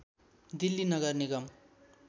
दिल्ली नगर निगम